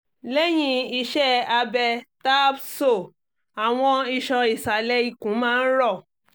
lẹ́yìn iṣẹ́ abẹ tahbsoàwọn iṣan ìsàlẹ̀ ikùn máa ń rọ̀